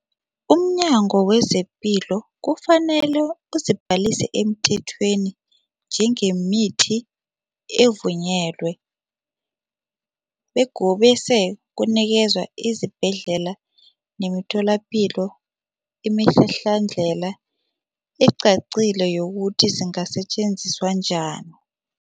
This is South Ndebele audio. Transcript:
UmNyango wezePilo kufanele uzibhalise emthethweni njengemithi evunyelwe bese kunikezwe izibhedlela nemitholapilo imihlahlandlela ecacile yokuthi zingasetjenziswa njani.